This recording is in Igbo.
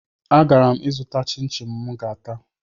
Agara m ịzụta chịn chịn mụ ga-ata